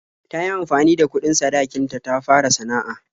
Ta yi amfani da kuɗin sadakin ta ta fara sana'a.